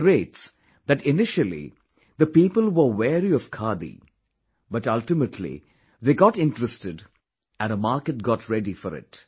He narrates that initially the people were wary of khadi but ultimately they got interested and a market got ready for it